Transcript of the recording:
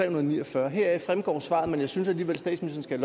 og ni og fyrre her fremgår svaret men jeg synes alligevel statsministeren